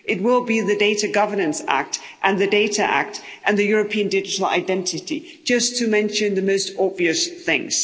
It will be the Data Governance Act and the Data Act and the European Digital Identity, just to mention the most obvious things.